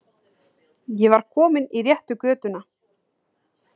Ég var kominn í réttu götuna.